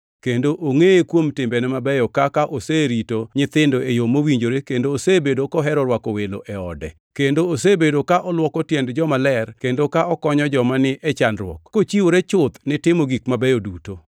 kendo ongʼeye kuom timbene mabeyo kaka oserito nyithindo e yo mowinjore kendo osebedo kohero rwako welo e ode, kendo osebedo ka olwoko tiend jomaler kendo ka okonyo joma ni e chandruok, kochiwore chuth ni timo gik mabeyo duto.